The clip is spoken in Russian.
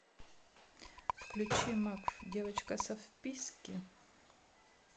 включи макф девочка со вписки